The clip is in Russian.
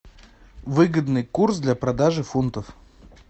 выгодный курс для продажи фунтов